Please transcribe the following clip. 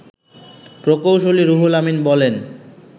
প্রকৌশলী রুহুল আমিন বলেন